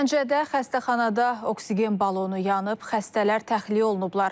Gəncədə xəstəxanada oksigen balonu yanıb, xəstələr təxliyə olunublar.